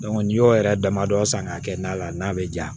n'i y'o yɛrɛ damadɔ san k'a kɛ na la n'a bɛ ja